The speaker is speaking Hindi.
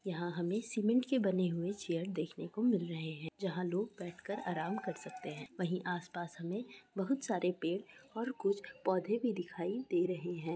यहाँ हमें सीमेंट के बने हुये हैं। चेयर देखने को मिल रहैं हैं जहाँ लोग बेठ कर आराम कर सकते हैं। वही आस-पास हमे बहुत सारे पेड़ और कुछ पोधे भी दिखाई दे रहैं हैं।